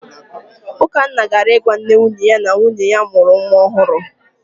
Ukanna gara ịgwa nne nwunye ya na nwunye ya mụrụ nwa ọhụrụ.